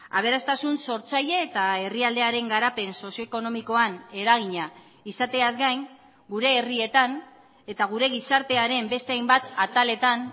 aberastasun sortzaile eta herrialdearen garapen sozio ekonomikoan eragina izateaz gain gure herrietan eta gure gizartearen beste hainbat ataletan